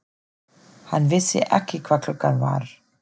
Hann vissi ekki hvað klukkan var.